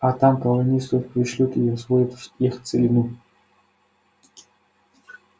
а там колонистов пришлют и освоят их целину